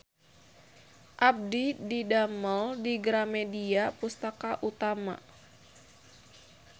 Abdi didamel di Gramedia Pustaka Utama